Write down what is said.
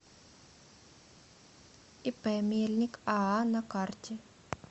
ип мельник аа на карте